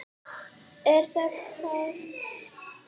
Er það Katla?